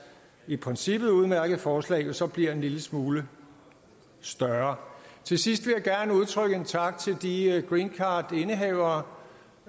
i princippet udmærkede forslag jo så bliver en lille smule større til sidst vil jeg gerne udtrykke en tak til de greencardindehavere